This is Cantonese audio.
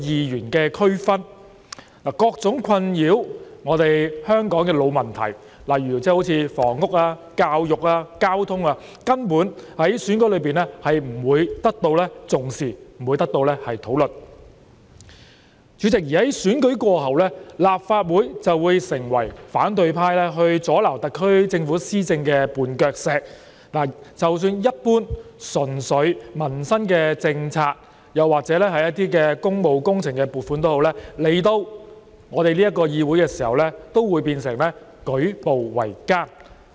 然而，困擾香港的各種老問題，例如房屋、教育、交通等，在選舉中根本不會得到重視和討論；而在選舉過後，主席，立法會就會成為反對派阻撓特區政府施政的絆腳石，即使一般純粹民生政策或工務工程撥款申請，來到我們這個議會時也會變得舉步維艱。